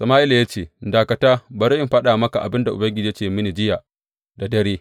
Sama’ila ya ce, Dakata, bari in faɗa maka abin da Ubangiji ya ce mini jiya da dare.